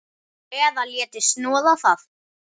Eða léti snoða það.